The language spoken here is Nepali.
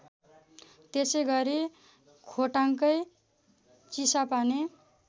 त्यसैगरी खोटाङकै चिसापानी